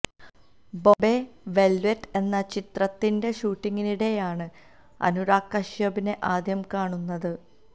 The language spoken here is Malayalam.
ബോംബെ വെല്വെറ്റ് എന്ന ചിത്രത്തിന്റെ ഷൂട്ടിങ്ങിനിടെയാണ് അനുരാഗ് കശ്യപിനെ ആദ്യം കാണുന്നത്